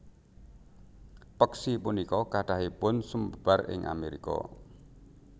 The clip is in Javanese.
Peksi punika kathahipun sumebar ing Amerika